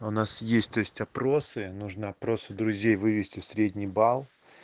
у нас есть то есть опросы нужно просто друзей вывести в средний балл